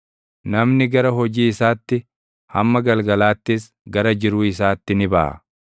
Namni gara hojii isaatti, hamma galgalaattis gara jiruu isaatti ni baʼa.